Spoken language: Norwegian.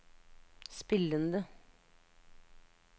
spillende